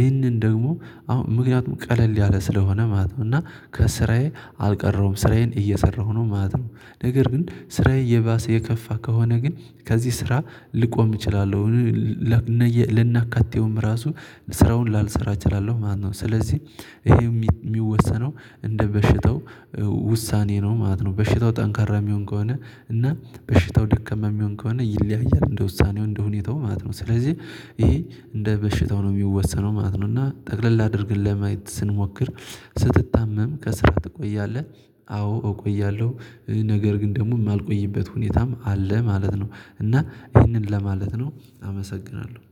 ይህንን ደግሞ አሁን ምክንያቱም ቀለል ያለ ስለሆነ ማለት ነው እና ከስራዬ አልቀረውም ስራዬን እየሰራሁ ነው ማለት ነው። ነገር ግን ስራዬ እየባሰ የከፋ ከሆነ ግን ከዚህ ስራ ልቆም እችላለሁ። ከናካቴውም ራሱ ስራውን ላልሰራ እችላለሁ ማለት ነው። ስለዚህ ይሄው የሚወሰነው እንደ በሽታው ውሳኔ ነው ማለት ነው። በሽታው ጠንካራ የሚሆን ከሆነ እና በሽታው ደካማ የሚሆን ከሆነ ይለያያል እንደ ውሳኔው እንደ ሁኔታው ማለት ነው። ስለዚህ ይሄ እንደ በሽታው ነው የሚወሰነው ማለት ነው። እና ጠቅለል አድርገን ለማየት ስንሞክር ስትታመም ከስራ ትቆያለህ? አዎ እቆያለሁ ነገር ግን ደግሞ የማልቆይበት ሁኔታም አለ ማለት ነው። እና ይህንን ለማለት ነው አመሰግናለሁ